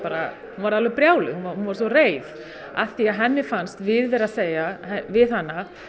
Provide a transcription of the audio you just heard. varð alveg brjáluð hún varð svo reið af því að henni fannst við vera að segja við hana